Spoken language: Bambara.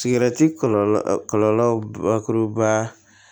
Sigɛrɛti kɔlɔlɔ kɔlɔlɔ bakuruba